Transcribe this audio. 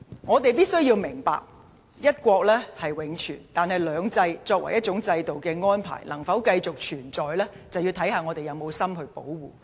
我們必須明白，"一國"是永存，但"兩制"作為一個制度的安排，能否繼續實施，視乎我們是否有心去保護。